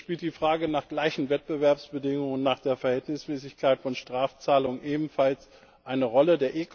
So spielt die Frage der gleichen Wettbewerbsbedingungen hinsichtlich der Verhältnismäßigkeit von Strafzahlungen ebenfalls eine Rolle.